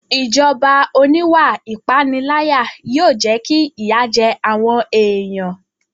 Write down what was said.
Ìjọba oníwà ìpániláyà yóò jẹ́ kí ìyà jẹ àwọn èèyàn